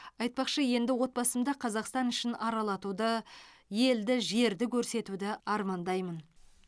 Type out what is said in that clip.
айтпақшы енді отбасымды қазақстан ішін аралатуды елді жерді көрсетуді армандаймын